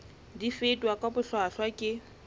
di fetwa ka bohlwahlwa ke